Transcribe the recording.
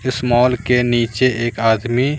इस मॉल के नीचे एक आदमी--